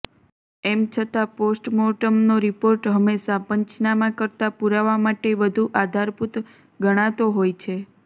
એમ છતા પોસ્ટમોર્ટમનો રિપોર્ટ હંમેશા પંચનામા કરતા પૂરાવા માટે વધુ આધારભૂત ગણાતો હોય છે